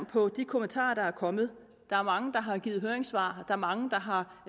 på de kommentarer der er kommet der er mange der har givet høringssvar er mange der har